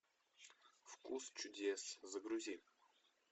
вкус чудес загрузи